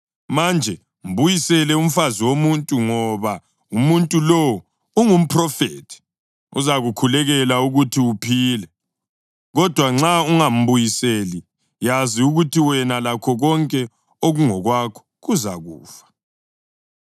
Manje mbuyisele umfazi womuntu, ngoba umuntu lowo ungumphrofethi, uzakukhulekela ukuthi uphile. Kodwa nxa ungambuyiseli, yazi ukuthi wena lakho konke okungokwakho kuzakufa.”